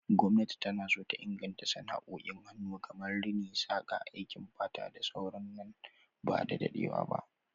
Gwamnati na so ta inganta sana'o'in hannu kamar Rini, saƙa, aikin fata da sauran su nan ba da dadewa ba.